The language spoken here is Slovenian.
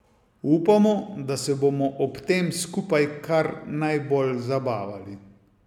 Upamo, da se bomo ob tem skupaj kar najbolj zabavali.